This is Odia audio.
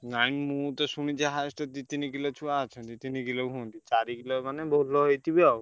ନାଇଁ ମୁଁ ତ ଶୁଣିଛି highest ଦି ତିନ କିଲ ଛୁଆ ଅଛନ୍ତି। ତିନି କିଲ ହୁଅନ୍ତି, ଚାରିକିଲ ମାନେ ଭଲ ହେଇଥିବେ ଆଉ।